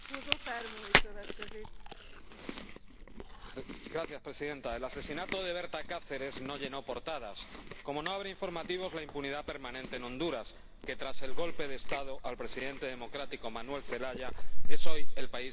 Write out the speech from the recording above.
Señora Presidenta, el asesinato de Berta Cáceres no llenó portadas, como no abre informativos la impunidad permanente en Honduras, que, tras el golpe de Estado al presidente democrático Manuel Zelaya, es hoy el país más violento del mundo.